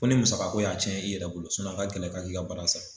Ko ni musaka ko y'a tiɲɛ i yɛrɛ bolo a ka kɛlɛ ka k'i ka bara sa.